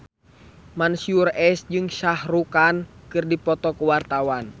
Mansyur S jeung Shah Rukh Khan keur dipoto ku wartawan